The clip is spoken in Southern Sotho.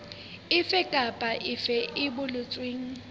efe kapa efe e boletsweng